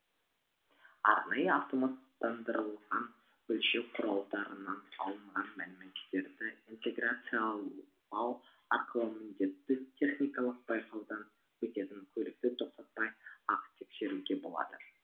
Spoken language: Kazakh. арнайы автоматтандырылған өлшеу құралдарынан алынған мәліметтерді интеграциялау арқылы міндетті техникалық байқаудан өтетін көлікті тоқтатпай ақ тексеруге болады